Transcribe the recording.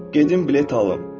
Gedim bilet alım.